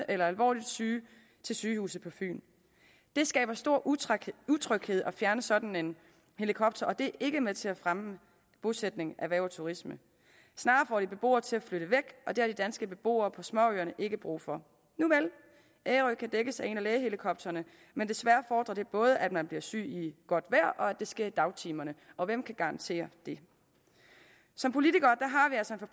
eller alvorligt syge til sygehuset på fyn det skaber stor utryghed utryghed at fjerne sådan en helikopter og det ikke med til at fremme bosætning erhverv og turisme snarere får det beboere til at flytte væk og det har de danske beboere på småøerne ikke brug for nuvel ærø kan dækkes af en af lægehelikopterne men desværre fordrer det både at man bliver syg i godt vejr og at det sker i dagtimerne og hvem kan garantere det som politikere